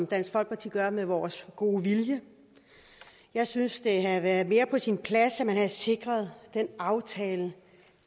dansk folkeparti gør med vores gode vilje jeg synes det havde været mere på sin plads at man havde sikret den aftale